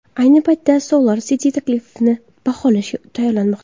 Ayni paytda SolarCity taklifni baholashga tayyorlanmoqda.